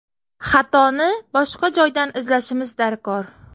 Xatoni boshqa joydan izlashimiz darkor.